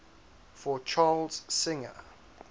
for charles singer